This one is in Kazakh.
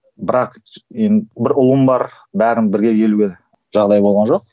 бірақ бір ұлым бар бәрін бірге келуге жағдай болған жоқ